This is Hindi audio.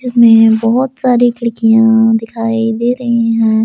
बहुत सारे खिड़कियां दिखाई दे रही हैं।